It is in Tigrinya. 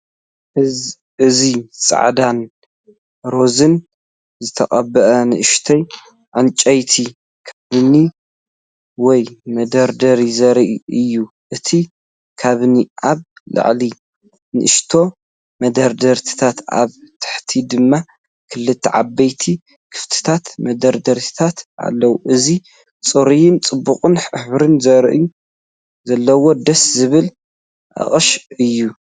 እዚ ጻዕዳን ሮዛን ዝተቐብአ ንእሽቶ ዕንጨይቲ ካቢነ ወይ መደርደሪ ዘርኢ እዩ። እቲ ካቢነ ኣብ ላዕሊ ንኣሽቱ መደርደሪታት ኣብ ታሕቲ ድማ ክልተ ዓበይቲ ክፉታት መደርደሪታት ኣለዎ። እዚ ጽሩይን ጽቡቕን ሕብሪ ዘለዎ ደስ ዝብል ኣቅሻ እዩ።